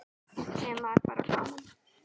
Sem var bara gaman.